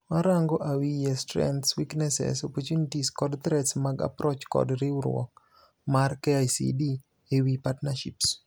Warango awiye strengths, weaknesses, opportunities kod threats mag approach kod riuruok mar KICD ewii partnerships.